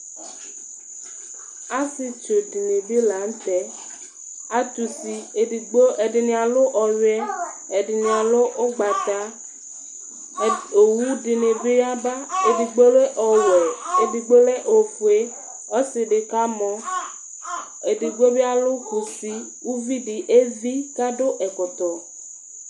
asietsu dɩ nɩ lanutɛ, atani atʊ usi kʊ ɛdɩnɩ alʊ ɔyuɛ kʊ ɛdɩnɩ ugbata, owu dɩnɩ bɩ yaba, edigbo lɛ ɔwɛ, ɛfuanɩ lɛ ofue, ɔsi dɩ kamɔ, edigbo bɩ alʊ kusi, uvi vi dɩ akɔ ɛkɔtɔ